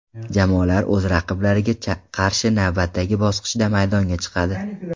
Jamoalar o‘z raqiblariga qarshi navbatdagi bosqichda maydonga chiqadi.